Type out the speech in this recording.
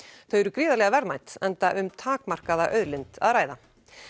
þau eru gríðarlega verðmæt enda um takmarkaða auðlind að ræða